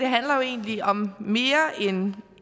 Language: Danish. handler jo egentlig om mere end